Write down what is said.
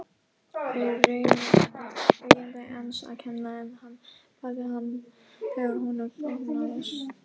Í raun var þetta eiganda hans að kenna en hann barði hann þegar honum þóknaðist.